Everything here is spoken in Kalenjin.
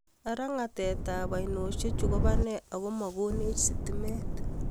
ara ngetatetap oinoshechu kopane akomakonech sitimet